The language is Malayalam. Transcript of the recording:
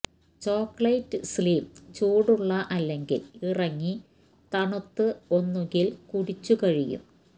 ചോക്ലേറ്റ് സ്ലിം ചൂടുള്ള അല്ലെങ്കിൽ ഇറങ്ങി തണുത്ത് ഒന്നുകിൽ കുടിച്ചു കഴിയും